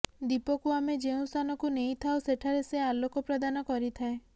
ଦୀପକୁ ଆମେ ଯେଉଁ ସ୍ଥାନକୁ ନେଇଥାଉ ସେଠାରେ ସେ ଆଲୋକ ପ୍ରଦାନ କରିଥାଏ